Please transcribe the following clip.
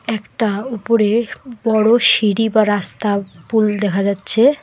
একটা উপরে বড় সিঁড়ি বা রাস্তা ও পুল দেখা যাচ্ছে।